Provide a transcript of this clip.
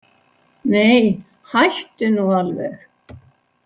Nei, hættu nú alveg